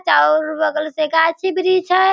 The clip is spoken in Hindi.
चारों और बगल से गाछी वृक्ष है।